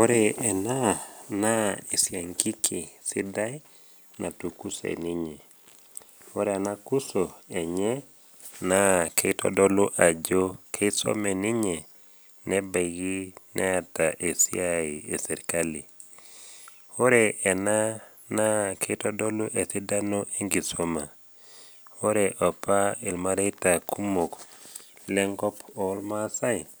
Ore ena bae naa enetipat oleng teramatare omukundani. Ore ake teniyiu neisho inkaitubulu inono neiu ilng’anayio kumok, naa tenireten emukunda ino oleng nirip sii embolea enye. Ore ena bae naa iyau imasakar naatoito, ning’as atur emukunda apik ilainini ashu ilmutaroni ogut enkiti. Ore pee indip, nimbung’ nena masakar, nipik atua ilo mutaro ninukaa. Nincho erishata o wiiki are, ore intoki alotu aing’uraa, naa kinepu ajo etupurdate nena masakar neaku ninche embolea tenkulukuoni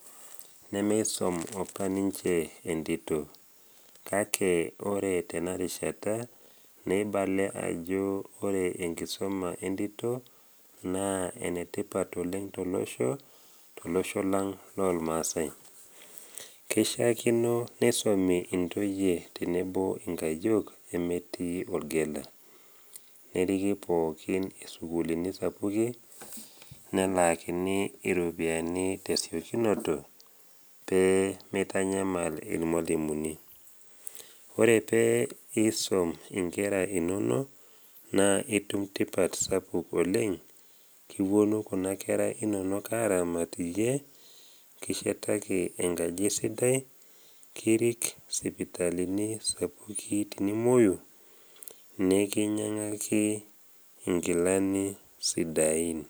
emukunda ino.